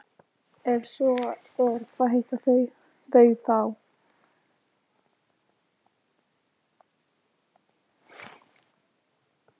Skerpla er annar mánuður í sumri en skerpla vísar líklegast til lítils gróðurs að vori.